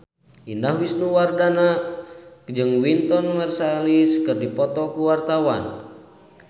Indah Wisnuwardana jeung Wynton Marsalis keur dipoto ku wartawan